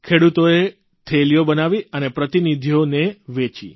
ખેડૂતોએ થેલીઓ બનાવી અને પ્રતિનિધિઓને વેચી